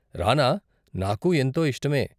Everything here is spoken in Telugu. రానా? నాకూ ఎంతో ఇష్టమే.